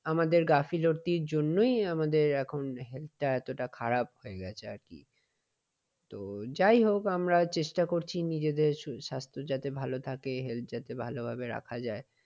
আমাদের গাফিলতির জন্যই আমাদের এখন health টা এতটা খারাপ হয়ে গেছে আর কি। তো যাই হোক আমরা চেষ্টা করছি নিজেদের স্বাস্থ্য যাতে ভালো থাকে health যাতে ভালোভাবে রাখা যায়।